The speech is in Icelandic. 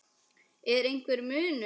Er einhver munur?